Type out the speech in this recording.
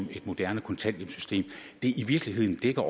et moderne kontanthjælpssystem i virkeligheden dækker